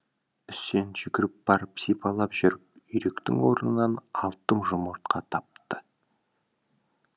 үсен жүгіріп барып сипалап жүріп үйректің орнынан алты жұмыртқа тапты